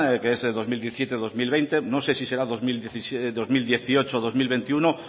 que es dos mil dieciocho dos mil veinte no sé si será dos mil dieciocho dos mil veintiuno